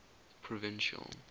provincial